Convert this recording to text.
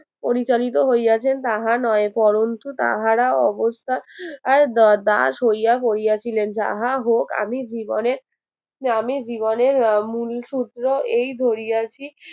পরিচালিত হইয়াছেন তাহা নয় বরণতু তাহারা অবস্থা আই দ~দাস হইয়া পরিয়াছিলেন যাহা হোক আমি জীবনে আমি জীবনের আহ মূল সূত্র এই ধরিয়াছি